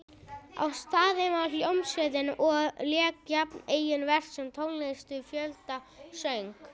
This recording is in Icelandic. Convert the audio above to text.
Á staðnum var hljómsveit og lék jafnt eigin verk sem tónlist við fjöldasöng.